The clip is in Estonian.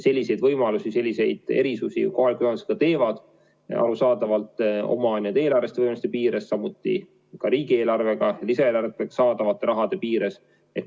Selliseid võimalusi on, selliseid erisusi kohalikud omavalitsused ka teevad, arusaadavalt oma eelarveliste võimaluste piires, samuti riigieelarvest ja lisaeelarvetest saadavate summade piires.